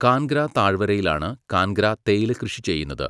കാൻഗ്ര താഴ്വരയിലാണ് കാൻഗ്ര തേയില കൃഷി ചെയ്യുന്നത്.